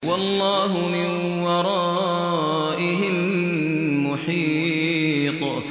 وَاللَّهُ مِن وَرَائِهِم مُّحِيطٌ